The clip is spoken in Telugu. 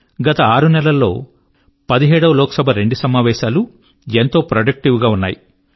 గత ఆరునెల్లలో 17 వ లోక్ సభ యొక్క రెండు సమావేశాలు ఎంతో ప్రొడక్టివ్ గా ఉన్నాయి